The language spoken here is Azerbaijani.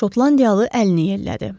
Şotlandiyalı əlini yellədi.